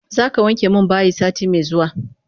Zaka wanke min bayi sati me zuwa?